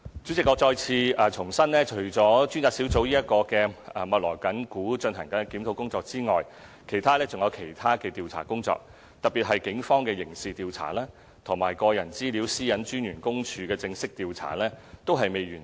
主席，我再次重申，除了專責小組密鑼緊鼓地進行檢討工作外，還有多項其他調查工作，特別是警方的刑事調查和個人資料私隱專員公署的正式調查均未完成。